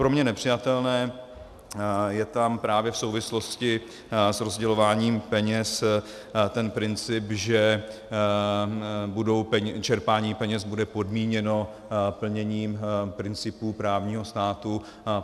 Pro mě nepřijatelné je tam právě v souvislosti s rozdělováním peněz ten princip, že čerpání peněz bude podmíněno plněním principů právního státu.